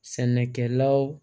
Sɛnɛkɛlaw